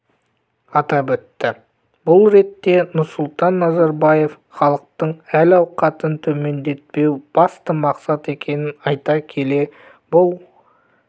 атап өтті бұл ретте нұрсұлтан назарбаев халықтың әл-ауқатын төмендетпеу басты мақсат екенін айта келе бұл